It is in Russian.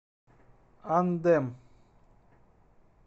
андем